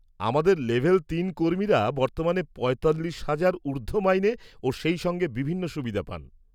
আমাদের লেভেল তিন কর্মীরা বর্তমানে পঁয়তাল্লিশ হাজার ঊর্ধ্ব মাইনে ও সেই সঙ্গে বিভিন্ন সুবিধা পান।